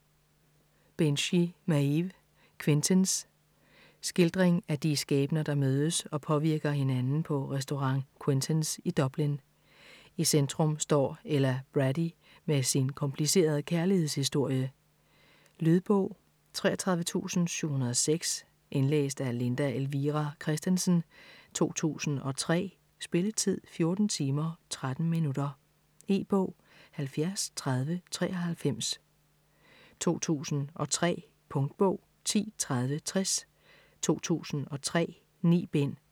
Binchy, Maeve: Quentins Skildring af de skæbner der mødes og påvirker hinanden på restaurant Quentins i Dublin. I centrum står Ella Brady med sin komplicerede kærlighedshistorie. Lydbog 33706 Indlæst af Linda Elvira Kristensen, 2003. Spilletid: 14 timer, 13 minutter. E-bog 703093 2003. Punktbog 103060 2003. 9 bind.